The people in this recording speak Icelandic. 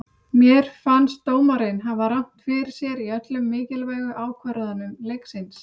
Mér fannst dómarinn hafa rangt fyrir sér í öllum mikilvægu ákvörðunum leiksins.